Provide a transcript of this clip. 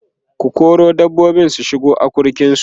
ku kora dabbobin su shiga akurkin su!